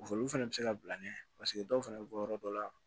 Olu fɛnɛ bɛ se ka bila nɛ paseke dɔw fana bɛ bɔ yɔrɔ dɔ la